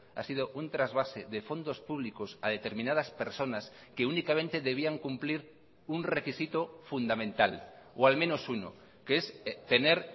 ha sido un trasvase de fondos públicos a determinadas personas que únicamente debían cumplir un requisito fundamental o al menos uno que es tener